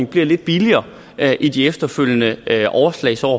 bliver lidt billigere i de efterfølgende overslagsår